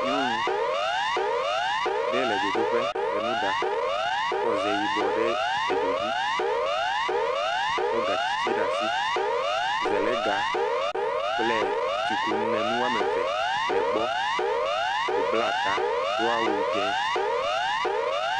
Nyɔnu ɖe le dzodoƒe le nu ɖa, kɔ ze yibɔ ɖe dzodzi. Kɔ gatsi tsi ɖe asi, zelega kple tsikunu. Enu woame ve le gbɔ. Wòbla ta, do awu dzẽ.